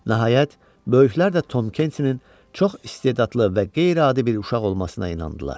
Nəhayət, böyüklər də Tom Kensinin çox istedadlı və qeyri-adi bir uşaq olmasına inandılar.